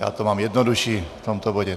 Já to mám jednodušší v tomto bodě.